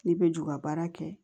Ne bɛ juga baara kɛ